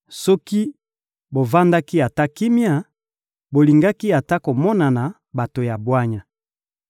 Soki bovandaki ata kimia, bolingaki ata komonana bato ya bwanya.